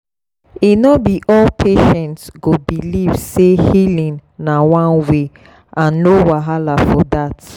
e no be all patients go believe say healing na one way and no wahala for that.